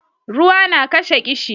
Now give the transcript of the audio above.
ruwa na kashe kishi